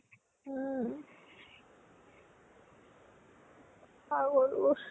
উম পাগলবোৰ